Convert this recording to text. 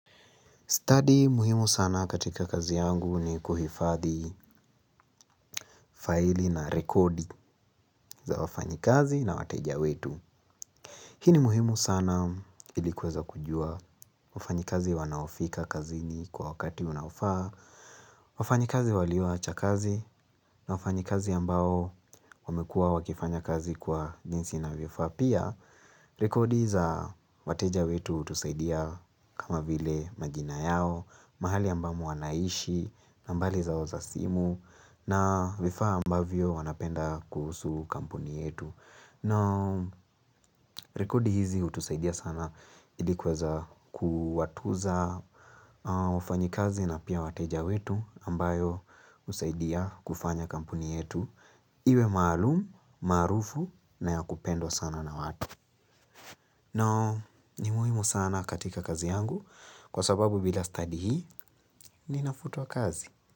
Study muhimu sana katika kazi yangu ni kuhifathi faili na rekodi za wafanyi kazi na wateja wetu. Hi ni muhimu sana ilikuweza kujua wafanyi kazi wanaofika kazi ni kwa wakati unaofaa. Wafanyi kazi walioacha kazi na wafanyi kazi ambao wamekua wakifanya kazi kwa jinsi na vifaa pia. Rekodi za wateja wetu utusaidia kama vile majina yao, mahali ambamo wanaishi, nambali zao za simu, na vifaa ambavyo wanapenda kuhusu kampuni yetu. No, rekodi hizi utusaidia sana ilikweza kuwatuza wafanyikazi na pia wateja wetu ambayo usaidia kufanya kampuni yetu. Iwe maalumu, marufu na ya kupendwa sana na watu. Noo, ni muhimu sana katika kazi yangu kwa sababu bila study hii ni nafutua kazi.